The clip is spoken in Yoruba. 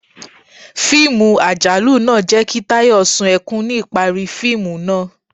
Fiimú ajalù naa jẹ ki Tayó sún ekún ni ipari fiimu naa